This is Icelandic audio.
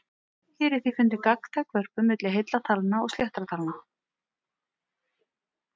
Hér er því fundin gagntæk vörpun milli heilla talna og sléttra talna.